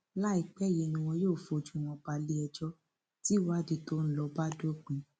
láìpẹ yìí ni wọn yóò fojú wọn balẹẹjọ tìwádìí tó ń lọ bá dópin